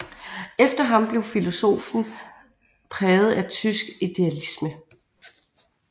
Efter ham blev filosofien præget af tysk idealisme